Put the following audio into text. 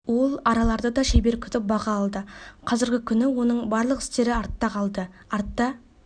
ол араларды да шебер күтіп баға алды қазіргі күні оның барлық істері артта қалды артта